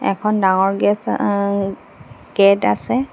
এখন ডাঙৰ গেচ অ গেট আছে।